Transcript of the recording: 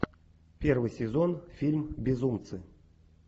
первый сезон фильм безумцы